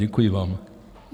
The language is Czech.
Děkuji vám.